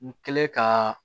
N kɛlen ka